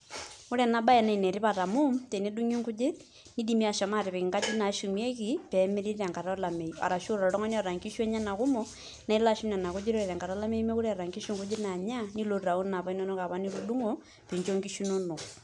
Ore enabae na enetipat amu tenedungi nkujit nidimi ashom ainoto enkoitoi nashumieki petumokini aitumia enkata olameyu arashu toltunganak oota nkishu enyenak kumok nelo ashum nonakujit ore enkata nemeeta nkishu nkujit nilotu aitau napa inonok nitudungopincho nkishu inonok